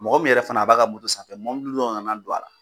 Mɔgɔ min yɛrɛ fana a b'a ka moto sanfɛ mɔbiliw dɔw nana don a la.